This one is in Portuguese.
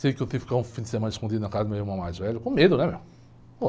Sei que eu tive que ficar um fim de semana escondido na casa do meu irmão mais velho, com medo, né, meu? Pô.